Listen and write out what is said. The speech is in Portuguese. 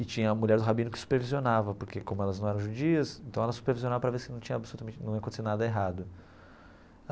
E tinha a mulher do rabino que supervisionava, porque como elas não eram judias, então ela supervisionava para ver se não tinha absolutamente num ia acontecer nada errado.